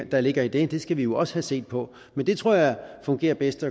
der ligger i det skal vi jo også have set på men det tror jeg fungerer bedst